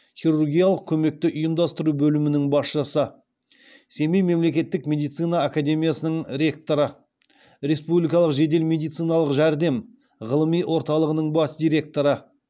хирургиялық көмекті ұйымдастыру бөлімінің басшысы семей мемлекеттік медицина академиясының ректоры республикалық жедел медициналық жәрдем ғылыми орталығының бас директоры